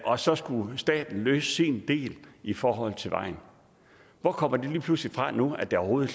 og så skulle staten løse sin del i forhold til vejen hvor kommer det lige pludselig fra nu at der overhovedet